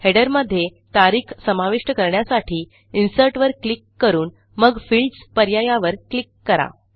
Headerमध्ये तारीख समाविष्ट करण्यासाठी Insertवर क्लिक करून मग Fieldsपर्यायावर क्लिक करा